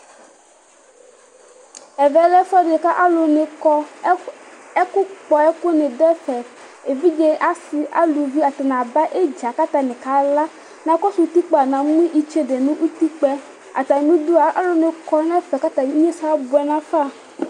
Ɛvɛ lɛ ɛfuɛdi ka alʋni kɔ, ɛkʋ kpɔ ɛkʋni dʋ ɛfɛ Evidze, asi, aluvi atani aba idza k'atani kala Nakɔsʋ utikpa namʋ itsede nu utikpa yɛ, atamidua alʋni kɔ n'ɛfɛ k'atani ignesɛ abuɛ nafa